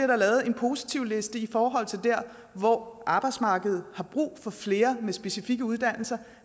der lavet en positivliste i forhold til dér hvor arbejdsmarkedet har brug for flere med specifikke uddannelser